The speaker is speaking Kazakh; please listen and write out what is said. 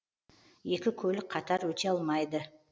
екі көлік қатар өте алмайды